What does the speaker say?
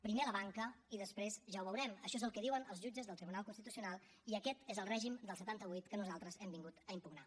primer la banca i després ja ho veurem això és el que diuen els jutges del tribunal constitucional i aquest és el règim del setanta vuit que nosaltres hem vingut a impugnar